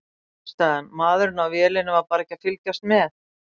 Ástæðan: Maðurinn á vélinni var bara ekki að fylgjast með.